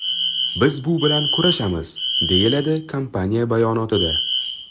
Biz bu bilan kurashamiz”, deyiladi kompaniya bayonotida.